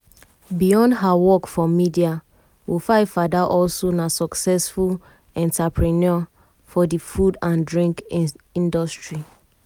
beyond her work for media wofaifada also na successful entrepreneur for di food and drink industry.